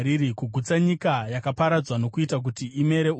kugutsa nyika yakaparadzwa nokuita kuti imere uswa?